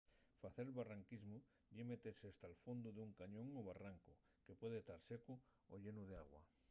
facer barranquismu ye metese hasta’l fondu d’un cañón o barrancu que puede tar secu o llenu d’agua